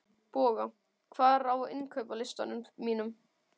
Boga, hvað er á innkaupalistanum mínum?